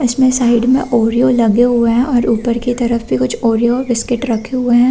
इसमें साइड में ओरिओ लगे हुएं हैं और ऊपर की तरफ भी कुछ ओरिओ बिस्कीट रखे हुएं हैं।